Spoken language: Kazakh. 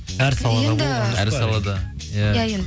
әр салада енді әр салада ия енді